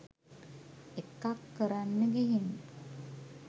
එකක් කරන්න ගිහින්